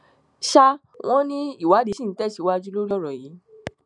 sà wọn ní ìwádìí ṣì ń tẹsíwájú lórí ọrọ yìí